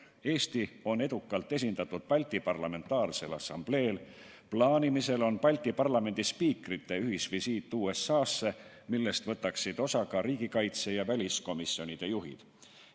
Eesti on edukalt esindatud Balti parlamentaarsel assambleel, kavas on Balti parlamendispiikrite ühisvisiit USA-sse, millest võtaksid osa ka riigikaitse ja väliskomisjonide juhid.